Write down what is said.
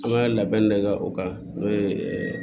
An ka labɛn de kɛ o kan n'o ye